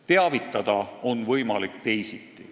Teavitada on võimalik teisiti.